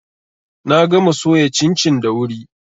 Na gama soya cincin da wuri.